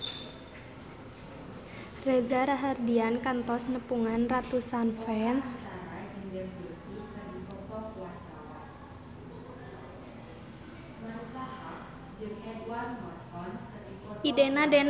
Reza Rahardian kantos nepungan ratusan fans